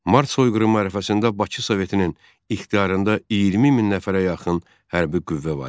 Mart soyqırımı ərəfəsində Bakı Sovetinin ixtiyarında 20 min nəfərə yaxın hərbi qüvvə var idi.